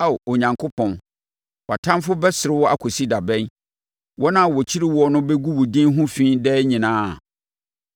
Ao Onyankopɔn, wʼatamfoɔ bɛsere wo akɔsi da bɛn? Wɔn a wɔkyiri woɔ no bɛgu wo din ho fi daa anaa?